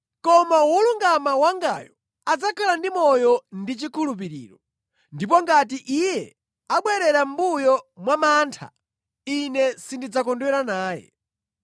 Koma wolungama wangayo adzakhala ndi moyo mwachikhulupiriro. Ndipo ngati iye abwerera mʼmbuyo chifukwa cha mantha, Ine sindidzakondwera naye.